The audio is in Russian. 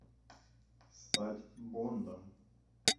стать бондом